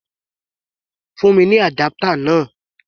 Fún mi ní adapter náà!